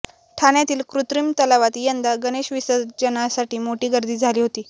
ठाण्यातील कृत्रिम तलावात यंदा गणेश विसर्जनासाठी मोठी गर्दी झाली होती